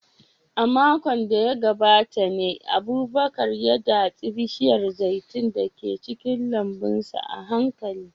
A makon da ya gabata ne Abubakar ya datse bishiyar zaitun da ke cikin lambun sa a hankali.